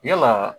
Yala